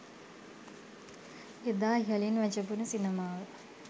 එදා ඉහළින් වැජඹුණු සිනමාව